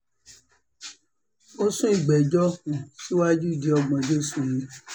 ó sún ìgbẹ́jọ́ um síwájú di ògbóǹjọ́ oṣù yìí